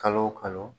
Kalo o kalo